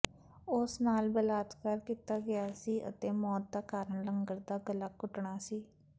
ਉਸ ਨਾਲ ਬਲਾਤਕਾਰ ਕੀਤਾ ਗਿਆ ਸੀ ਅਤੇ ਮੌਤ ਦਾ ਕਾਰਨ ਲੰਗਰ ਦਾ ਗਲਾ ਘੁੱਟਣਾ ਸੀ